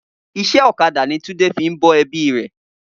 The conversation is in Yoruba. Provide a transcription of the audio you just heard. Iṣẹ́ ọ̀kadà ni Túndé fi ń bọ́ ẹbí rẹ̀